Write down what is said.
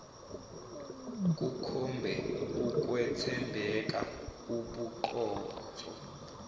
kukhombe ukwethembeka ubuqotho